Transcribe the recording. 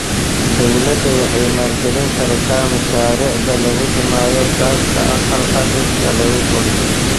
Dawladdu waxay maalgelin kartaa mashaariicda lagu dhimayo gaaska aqalka dhirta lagu koriyo.